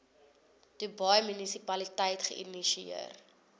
dubai munisipaliteit geïnisieer